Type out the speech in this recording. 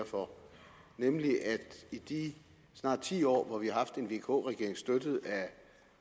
for nemlig at i de snart ti år hvor vi har haft en vk regering støttet af